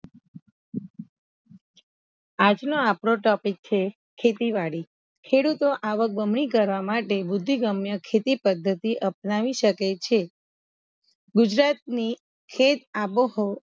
આજ નો આપડો ટોપીક છે ખેતીવાડી ખેડૂતો આવક બમણી કરવા માટે બુદ્ધિગમ્ય ખેતી પદ્ધતિ અપનાવી સકે છે ગુજરાત ની ખેત આબોહ